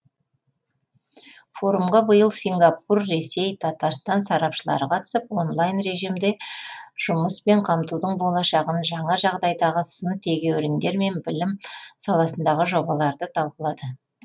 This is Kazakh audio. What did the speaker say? форумға биыл сингапур ресей татарстан сарапшылары қатысып онлайн режимде жұмыспен қамтудың болашағын жаңа жағдайдағы сын тегеуріндер мен білім саласындағы жобаларды талқылады